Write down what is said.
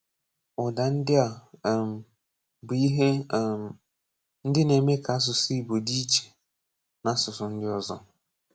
Ụ́dà ndị a um bụ ihe um ndị na-eme ka asụsụ́ Ìgbò dị iche na asụsụ ndị ọzọ.